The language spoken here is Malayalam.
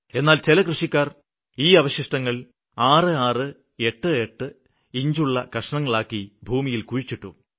എന്നാല് ചില കൃഷിക്കാര് വാഴയുടെ ഈ അവശിഷ്ടങ്ങള് 6 8 ഇഞ്ചു വരെയുള്ള കഷ്ണങ്ങളാക്കി ഭൂമിയില് കുഴിച്ചിട്ടു